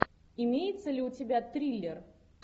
имеется ли у тебя триллер